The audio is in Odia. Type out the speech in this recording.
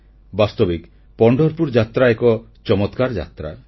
ବାସ୍ତବିକ ପଣ୍ଢରପୁର ଯାତ୍ରା ଏକ ଚମତ୍କାର ଯାତ୍ରା